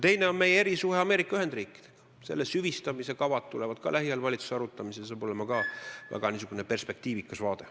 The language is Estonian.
Teine asi on meie erisuhe Ameerika Ühendriikidega, selle süvistamise kavad tulevad lähiajal valitsuses arutamisele, seal tuleb ka väga perspektiivikas vaade.